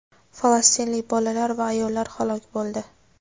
falastinlik bolalar va ayollar halok bo‘ldi.